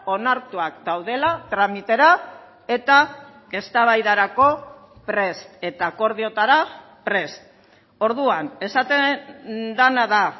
onartuak daudela tramitera eta eztabaidarako prest eta akordioetara prest orduan esaten dena da